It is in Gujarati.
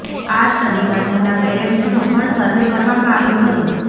આ સ્ટડીમાં તેમના પેરેન્ટ્સનો પણ સર્વે કરવામાં આવ્યો હતો